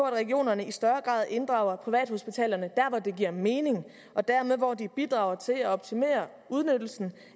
at regionerne i større grad inddrager privathospitalerne dér hvor det giver mening og dermed hvor de bidrager til at optimere udnyttelsen